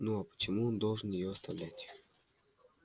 ну а почему он должен её оставлять